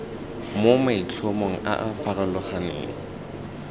mo maitlhomong a a farologaneng